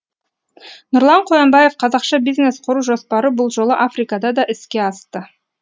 нұрлан қоянбаев қазақша бизнес құру жоспары бұл жолы африкада да іске асты